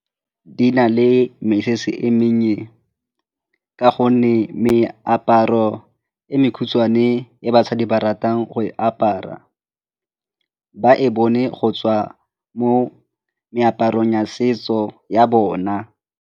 Di na le mesese e mennye ka gonne meaparo e mekhutshwane e basadi ba ratang go e apara, ba e bone go tswa mo meaparong ya setso ya bona.